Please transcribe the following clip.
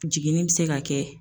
Jiginni be se ka kɛ